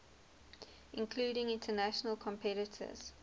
including international competitors